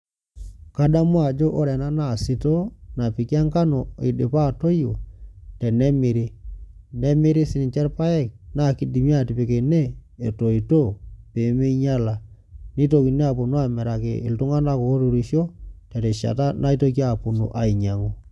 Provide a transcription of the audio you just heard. Kadamu ajo ore ena na sitoo napiki enkano idipa aroyio tenemiri, nemiri sinche irpaek na kidimi atipik ene etoito pemeinyala nitokini aponu amiraki ltunganak oturisho terishata naitoki aponu ainyangu.